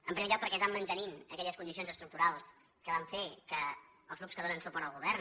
en primer lloc perquè es van mantenint aquelles condicions estructurals que van fer que els grups que donen suport al govern